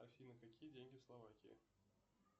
афина какие деньги в словакии